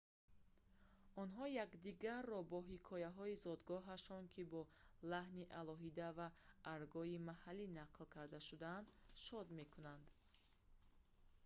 онҳо якдигарро бо ҳикояҳои зодгоҳҳояшон ки бо лаҳни алоҳида ва аргои маҳаллӣ нақл карда шудаанд шод мекунанд